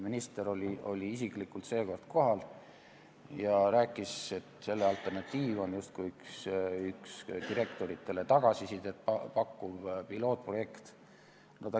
Minister oli isiklikult seekord kohal ja rääkis, et alternatiiv on justkui üks direktoritele tagasisidet pakkuv pilootprojekt.